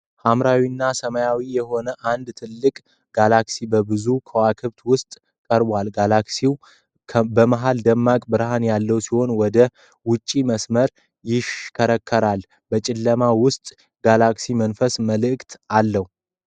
ሐምራዊና ሰማያዊ የሆነው አንድ ትልቅ ጋላክሲ በብዙ ከዋክብት ውስጥ ቀርቧል፡፡ ጋላክሲው በመሀል ደማቅ ብርሃን ያለው ሲሆን ወደ ውጪ በመስመር ይሽከረከራል፡፡ በጨለማ ውስጥ ጋላክሲው መንፈሳዊ መልክ አለው፡፡